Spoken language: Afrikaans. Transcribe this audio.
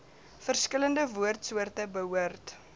verskillende woordsoorte behoort